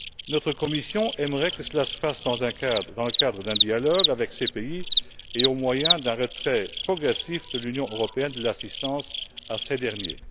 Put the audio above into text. Notre commission aimerait que cela se fasse dans le cadre d'un dialogue avec ces pays et au moyen d'un retrait progressif de l'Union européenne de l'assistance à ces derniers.